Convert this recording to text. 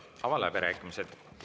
Avan läbirääkimised.